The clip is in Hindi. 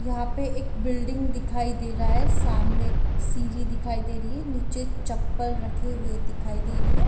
यहाँ पे एक बिल्डिंग दिखाई दे रहा हैसामने एक सीरी दिखाई दे रही है निचे चपल रखे हुए दिखाई दे रही है।